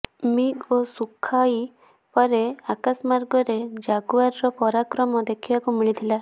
MiG ଓ Sukhoi ପରେ ଆକାଶମାର୍ଗରେ ଜାଗୁଆରର ପରାକ୍ରମ ଦେଖିବାକୁ ମିଳିଥିଲା